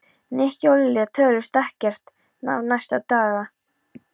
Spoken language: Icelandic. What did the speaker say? Nikki og Lilja töluðust ekkert við næstu daga.